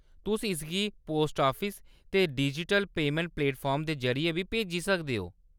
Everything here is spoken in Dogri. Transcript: तुस इसगी पोस्ट ऑफिस ते डिजिटल पेमैंट प्लेटफार्म दे जरि'यै बी भेजी सकदे ओ।